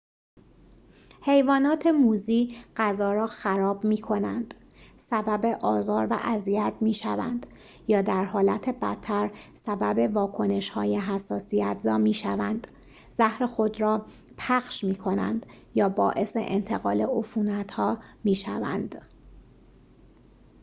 حیوانات موذی غذا را خراب می‌کنند سبب آزار و اذیت می‌شوند یا در حالت بدتر سبب واکنش‌های حساسیت‌زا می‌شوند زهر خود را پخش می‌کنند یا باعث انتقال عفونت‌ها می‌شوند